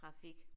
Trafik